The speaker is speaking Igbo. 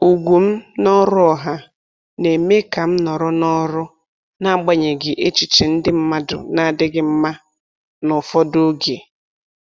Ugwu m n’ọrụ ọha na-eme ka m nọrọ n’ọrụ, n’agbanyeghị echiche ndị mmadụ na-adịghị mma n’ụfọdụ oge.